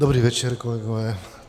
Dobrý večer, kolegové.